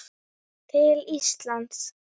til Íslands?